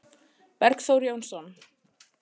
Bergþór Jónsson